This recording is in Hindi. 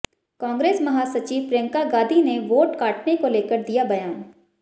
कांग्रेस महासचिव प्रियंका गांधी ने वोट काटने को लेकर दिया बयान